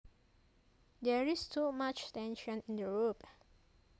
There is too much tension in the rope